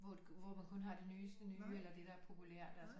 Hvor man kun har det nyeste nye eller det der er populært altså